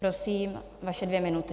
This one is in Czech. Prosím, vaše dvě minuty.